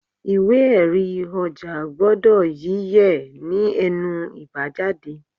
Ìwé erí ọjà gbọ́dọ̀ yí yẹ̀ ní ẹnu ibajade